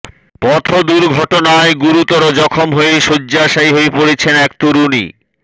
পথ দুর্ঘটনায় গুরুতর জখম হয়ে শয্যাশায়ী হয়ে পড়েছেন এক তরুণী